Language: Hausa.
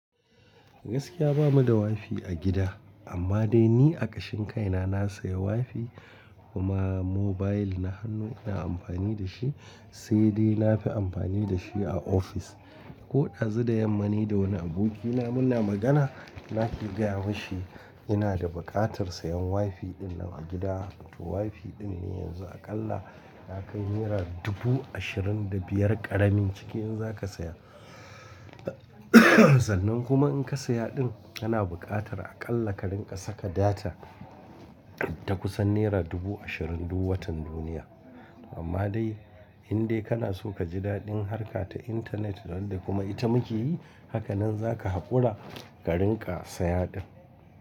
Gaskiya bamu da WiFi a gida, amma dai ni a kashin kai na na saya WiFi kuma mobile na hannu ina amfani da shi, sai dai na fi amfani da shi a ofis. Koɗazu da yamma ni da wani abokina muna magana, nake gaya mashi ina da buƙatar sayan WiFi ɗin nan a gida. WiFi ɗin ne yanzu aƙalla ya kai naira dubu ashirin da biyar ƙaramin cikin in za ka saya. Sannan kuma in ka saya ɗin, kana buƙatar aƙalla ka rinƙa saka data ta kusan naira dubu ashirin duk watan duniya. Amma dai in dai kana so ka ji daɗin harka ta intanet ran da kuma ita muke yi, hakanan za ka haƙura ka rinƙa saya ɗin.